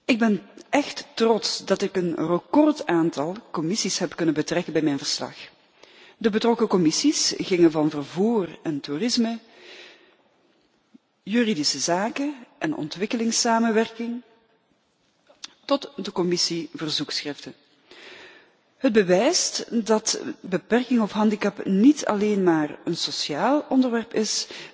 Ik ben echt trots dat ik een recordaantal commissies hebben kunnen betrekken bij mijn verslag, gaande van de Commissies vervoer en toerisme, juridische zaken en ontwikkelingssamenwerking tot de Commissie verzoekschriften. Dit bewijst dat beperking of handicap niet alleen maar een sociaal onderwerp is,